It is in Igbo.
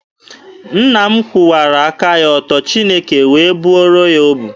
Nna m kwụwara aka ya ọtọ, Chineke wee bụọrọ ya ọbụ.